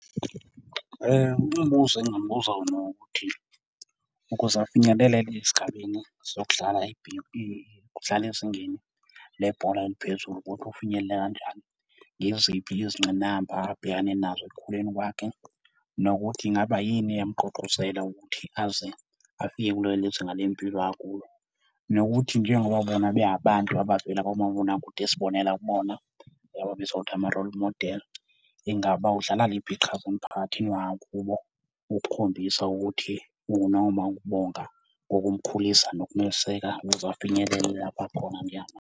Umbuzo engingamubuza wona ukuthi, ukuze afinyelelele esigabeni sokudlala ukudlala ezingeni lebhola eliphezulu ukuthi ufinyelele kanjani. Ngeziphi izingqinamba abhekane nazo ekukhuleni kwakhe, nokuthi ingaba yini eyamugqugquzela ukuthi aze afike kulo leli zinga lempilo akulo. Nokuthi njengoba bona bengabantu abavela kumabonakude esibonela kubona, laba ababizwa ngokuthi ama-role model, ingaba udlala liphi iqhaza emphakathini wangakubo ukukhombisa ukuthi noma ukubonga, kokumkhulisa nokumeseka ukuze afinyelele lapho ekhona njengamanje.